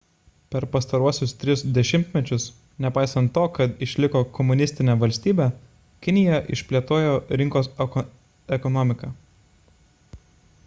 per pastaruosius tris dešimtmečius nepaisant to kad išliko komunistine valstybe kinija išplėtojo rinkos ekonomiką